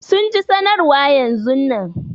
Sun ji sanarwa yanzun nan.